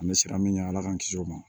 An bɛ siran min ɲɛ ala k'an kisi o ma